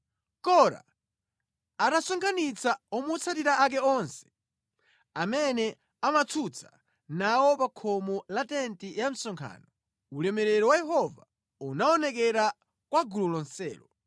Kora atasonkhanitsa omutsatira ake onse amene amatsutsa nawo pa khomo la tenti ya msonkhano, ulemerero wa Yehova unaonekera kwa gulu lonselo.